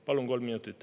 Palun kolm minutit.